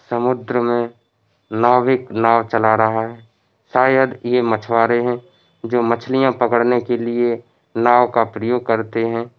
समुद्र में नाविक नाव चला रहा है शायद ये मछवारे है जो मछलियां पकड़ने के लिए नाव का प्रयोग करते है।